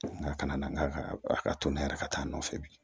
Nka kana na n'a ka a ka to ne yɛrɛ ka taa nɔfɛ bi